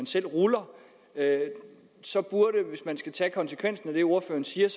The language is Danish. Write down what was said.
selv ruller af hvis man skal tage konsekvensen af det ordføreren siger